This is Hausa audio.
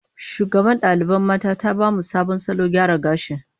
Shugaban ɗalibai mata ta ba mu sabon salon gyara gashi.